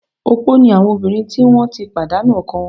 Opó ni àwọn obìnrin tí wọ́n ti pàdánu ọkọ wọn